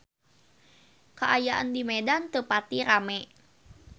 Kaayaan di Medan teu pati rame